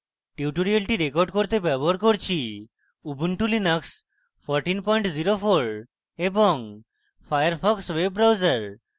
tutorial record করতে ব্যবহার করছি ubuntu linux 1404 এবং ফায়ারফক্স web browser